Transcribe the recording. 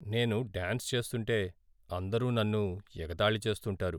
నేను డ్యాన్స్ చేస్తుంటే అందరూ నన్ను ఎగతాళి చేస్తుంటారు.